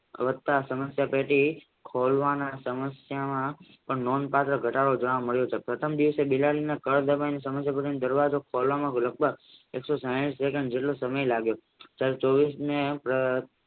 વધતા સમસ્યા ટેટી ખોલવાના સમસ્યામાં પણ નોંધપાત્ર ઘટાડો જોવા મળે છે પ્રથમ દિવસે બિલાડીના સમસ્યા ટેટીને દરવાજો ખોલવામાં એક સો સાહીઠ સેકેન્ડ જેટલો સમય લાગે છે ત્યારે ચોવશમે